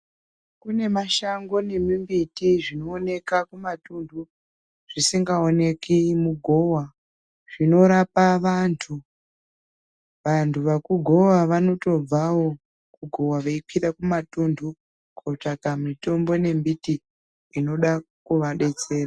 Kune mashango nemi mbiti zvino oneka ku matunhu zvisinga oneki mugova zvino rapa vantu vantu vaku gova vanoto bvawo kugova vei kwira ku matundu kotsvaka mitombo ne mbiti inoda kuva detsera.